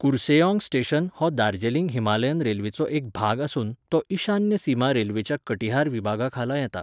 Kurseong station हो Darjeeling Himalayan रेल्वेचो एक भाग आसून तो ईशान्य सीमा रेल्वेच्या कटिहार विभागाखाला येता.